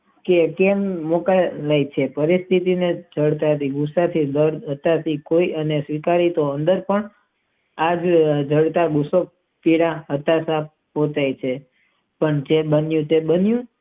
કે કેમ પરિસ્થી સાથે બળ કરીને અમે કોઈ સ્વીકારી તેને અંદર પણ આ આગ પીડા દેખાય છે પણ જ માટે તે બંને માટે જવાબદાર છે.